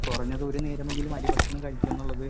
speaker 1 കുറഞ്ഞത് ഒരു നേരം എങ്കിലും അരി ഭക്ഷണംകഴിക്കും എന്നുള്ളത്